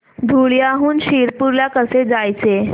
धुळ्याहून शिरपूर ला कसे जायचे